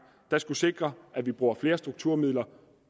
der skulle sikre at vi bruger flere strukturmidler